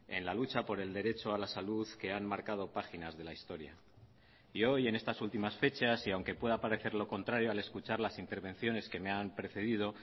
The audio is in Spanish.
en la lucha por el derecho a la salud que han marcado páginas de la historia y hoy en estas últimas fechas y aunque pueda parecer lo contrario al escuchar las intervenciones que me han precedido